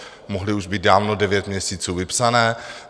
Mohly už být dávno devět měsíců vypsané.